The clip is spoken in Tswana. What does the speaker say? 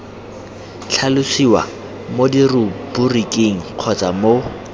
tlhalosiwa mo diruburiking kgotsa mo